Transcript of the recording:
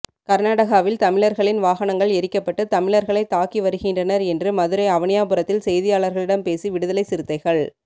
கர்நாடகாவில் தமிழர்களின் வாகனங்கள் எரிக்கப்பட்டு தமிழர்களை தாக்கி வருகின்றனர் என்று மதுரை அவனியாபுரத்தில் செய்தியாளர்களிடம் பேசி விடுதலை சிறுத்தைகள்